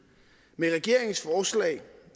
med regeringens forslag